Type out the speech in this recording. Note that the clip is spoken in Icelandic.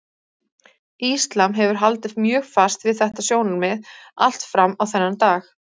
Íslam hefur haldið mjög fast við þetta sjónarmið allt fram á þennan dag.